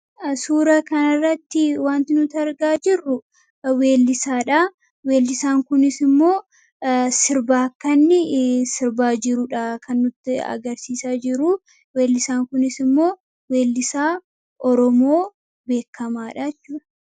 Suuraa kanarratti wanti nuti argaa jirru weellisaadha. Weellosaan kunis immoo sirba akkanni sirbaa jirudha kan nutti agarsiisaa jiru. Weellisaan kunis immoo weellisaa Oromoo beekamaadha jechuudha.